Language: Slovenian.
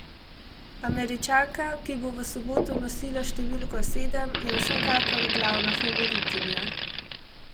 Američanka, ki bo v soboto nosila številko sedem, je vsekakor glavna favoritinja.